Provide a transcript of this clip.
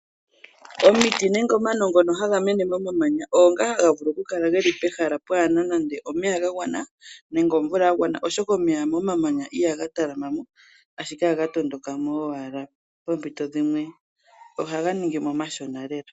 Omiti nenge omano ngono ha ga mene momamanya ogo ngoka ha ga vulu okukala pehala kaa pu na omeya ga gwana, nenge omvula ya gwana oshoka omeya mo mamanya iha ga talama mo ashike oha ga matuka mo owala poompito dhimwe oha ga ningi mk omashona lela.